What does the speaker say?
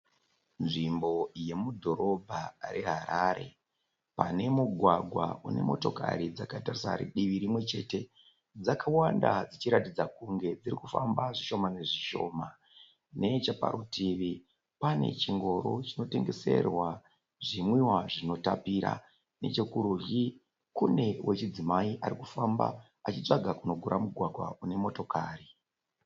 Nzvimbo yomudhorobha re Harare. Pane mugwagwa une motokari dzakatarisa divi rimwe chete. Dzakawanda dzichiratidza kunge dzirikufamba zvishoma nezvishoma. Necheparutivi panechingoro chinotengeserwa zvinwiwa zvinotapira. Nechekurudyi Kune wechidzimai arikufamba achitsvaga kuno gura mugwagwa kune motokari.